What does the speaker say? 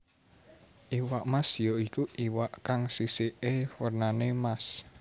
Iwak Mas ya iku iwak kang sisiké wernanè Mas